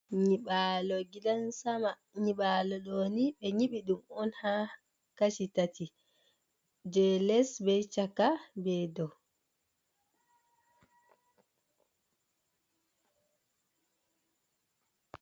Nyiɓalo gidan sama, nyiɓalo doni be nyiɓi dum on ha kashi tati je les be chaka be dow.